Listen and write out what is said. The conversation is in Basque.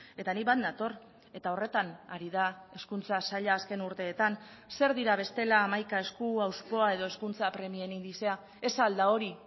eta ni bat nator eta horretan ari da hezkuntza saila azken urteetan zer dira bestela hamaika esku hauspoa edo hezkuntza premien indizea ez al da hori